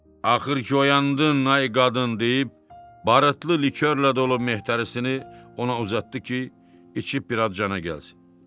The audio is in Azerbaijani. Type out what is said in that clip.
Axır ki, oyandın, ay qadın deyib barıtlı likyorla dolub mehtərisini ona uzatdı ki, içib bir az cana gəlsin.